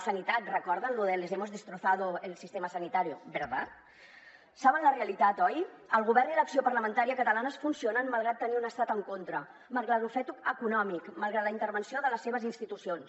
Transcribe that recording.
sanitat recorden allò de les hemos destrozado el sistema sanitario verdad saben la realitat oi el govern i l’acció parlamentària catalanes funcionen malgrat tenir un estat en contra malgrat l’ofec econòmic malgrat la intervenció de les seves institucions